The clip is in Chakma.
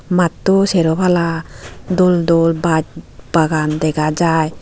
matto sero pala dol dol baj bagan dega jai.